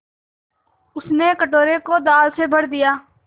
उसने कटोरे को दाल से भर दिया